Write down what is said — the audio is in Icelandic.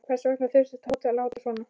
Hvers vegna þurfti Tóti að láta svona.